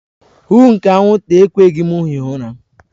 Huuuu nke anwụnta ekweghị m hie ụra.